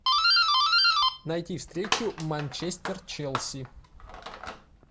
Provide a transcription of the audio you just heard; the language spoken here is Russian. найти встречу манчестер челси